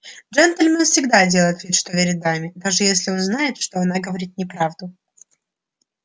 джентльмен всегда делает вид что верит даме даже если он знает что она говорит неправду